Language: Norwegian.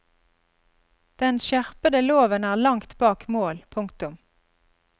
Den skjerpede loven er langt bak mål. punktum